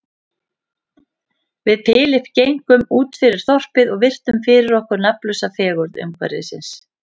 Við Philip gengum útfyrir þorpið og virtum fyrir okkur nafnlausa fegurð umhverfisins.